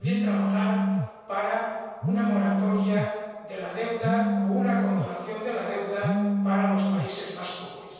y, también, trabajando para una moratoria de la deuda o una condonación de la deuda para los países más pobres.